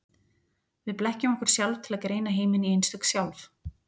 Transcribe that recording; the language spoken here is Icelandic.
Við blekkjum okkur sjálf til að greina heiminn í einstök sjálf.